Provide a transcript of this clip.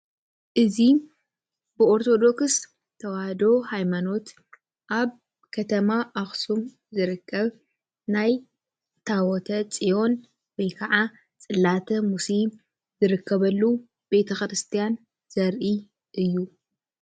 እዚ ብኦርቶዶክስ ተዋህዶ ሃይማኖት ኣብ ከተማ ኣክሱም ዝርከብ ናይ ታዎተፅዮን ወይከዓ ፅላተ ሙሴ ዝርከበሉ ቤተ ክርስትያን ዘርኢ እዩ።